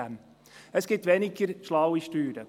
Es gibt weniger schlaue Steuern: